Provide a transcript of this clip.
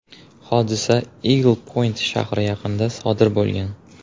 Hodisa Igl-Point shahri yaqinida sodir bo‘lgan.